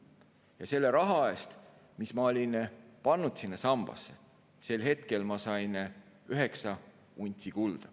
Ja selle raha eest, mis ma olin pannud sinna sambasse, sain ma sel hetkel üheksa untsi kulda.